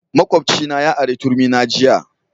Makwabcina ya ari turmi na jiya